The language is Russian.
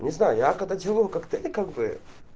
не знаю я когда деалю коктейли как бы